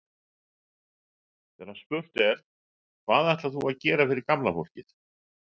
Þegar spurt er, hvað ætlar þú að gera fyrir gamla fólkið?